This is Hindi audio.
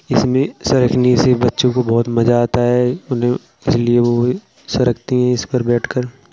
इसमें सरकने से बच्चों को बहोत मजा आता है। उन्हें इसलिए वो ये सरकते हैं इसपे बैठकर।